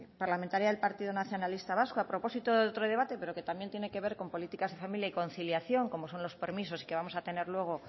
parlamentaria del partido nacionalista vasco a propósito de otro debate pero que también tiene que ver con políticas de familia y conciliación como son los permisos y que vamos a tener luego